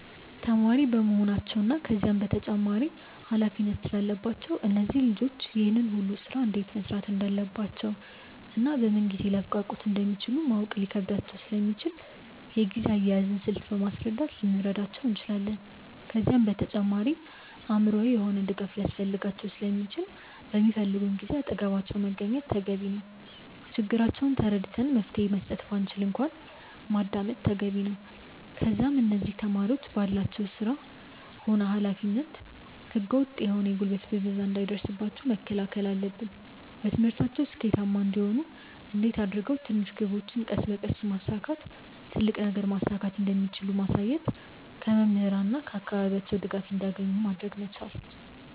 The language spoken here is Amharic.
ተማሪ በመሆናቸው እና ከዛም በላይ ተጨማሪ ኃላፊነት ስላለባቸው እነዚህ ልጆች ይህን ሁሉ ስራ እንዴት መስራት እንዳለባቸውና በምን ጊዜ ሊያብቃቁት እንደሚችሉ ማወቅ ሊከብዳቸው ስለሚችል የጊዜ አያያዝን ስልት በማስረዳት ልንረዳቸው እንችላለን። ከዛም በተጨማሪ አእምሮአዊ የሆነ ድጋፍ ሊያስፈልጋቸው ስለሚችል በሚፈልጉን ጊዜ አጠገባቸው መገኘት ተገቢ ነው። ችግራቸውን ተረድተን መፍትሄ መስጠት ባንችል እንኳን ማዳመጥ ተገቢ ነው። ከዛም እነዚህ ተማሪዎች ባላቸው ስራ ሆነ ኃላፊነት ህገ ወጥ የሆነ የጉልበት ብዝበዛ እንዳይደርስባቸው መከላከል አለብን። በትምህርታቸው ስኬታማ እንዲሆኑ እንዴት አድርገው ትንሽ ግቦችን ቀስ በቀስ በማሳካት ትልቅ ነገርን ማሳካት እንደሚችሉ ማሳየት። ከመምህራን እና ከአካባቢያቸው ድጋፍ እንዲያገኙ ማድረግ መቻል።